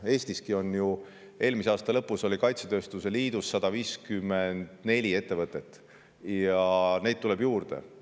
Eestiski oli ju eelmise aasta lõpus kaitsetööstuse liidus 154 ettevõtet, ja neid tuleb juurde.